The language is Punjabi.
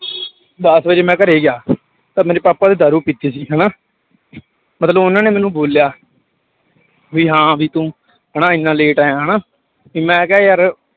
ਦਸ ਵਜੇ ਮੈਂ ਘਰੇ ਗਿਆ ਤਾਂ ਮੇਰੇ ਪਾਪਾ ਨੇ ਦਾਰੂ ਪੀਤੀ ਸੀ ਹਨਾ ਮਤਲਬ ਉਹਨਾਂ ਨੇ ਮੈਨੂੰ ਬੋਲਿਆ ਵੀ ਹਾਂ ਵੀ ਤੂੰ ਹਨਾ ਇੰਨਾ late ਆਇਆ ਹਨਾ ਤੇ ਮੈਂ ਕਿਹਾ ਯਾਰ